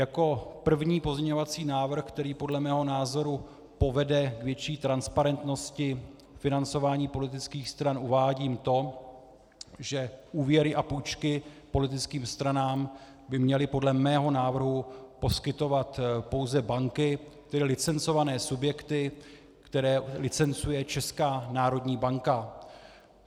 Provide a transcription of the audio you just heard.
Jako první pozměňovací návrh, který podle mého názoru povede k větší transparentnosti financování politických stran, uvádím to, že úvěry a půjčky politickým stranám by měly podle mého návrhu poskytovat pouze banky, tedy licencované subjekty, které licencuje Česká národní banka.